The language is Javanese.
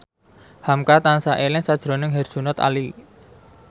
hamka tansah eling sakjroning Herjunot Ali